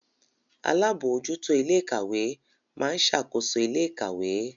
Alábòójútó ilé ìkàwé máa ń ṣàkóso ilé ìkàwé